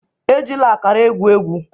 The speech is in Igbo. Ejila akara egwu egwu!